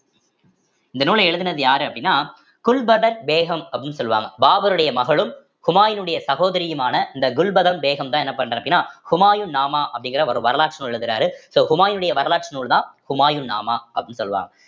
இந்த நூலை எழுதினது யாரு அப்படின்னா குல்பதன் பேகம் அப்படின்னு சொல்லுவாங்க பாபருடைய மகளும் ஹுமாயினுடைய சகோதரியுமான இந்த குல்பதன் பேகம்தான் என்ன பண்ற அப்படின்னா ஹுமாயூன் நாமா அப்படிங்கிற ஒரு வரலாற்று நூல் எழுதுறாரு so ஹுமாயூனுடைய வரலாற்று நூல்தான் ஹுமாயூன் நாமா அப்படின்னு சொல்லுவாங்க